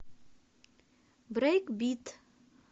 брейкбит